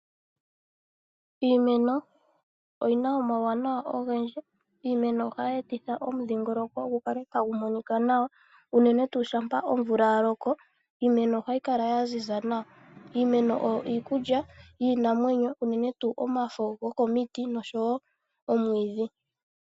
Iimeno oyina uwanawa owundji, iimeno ohayetitha omudhingoloko ngukale tangumonika nawa unene tu shapa omvula yaloko iimeno ohayikala yanzinza nawa, iimeno oyo iikulya yinamwenyo unene tu omafo ngokomiti noshowo omwidhi.